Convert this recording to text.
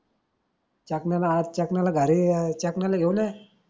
चकणा ला हा चकणा ला घरी आ घेऊन ये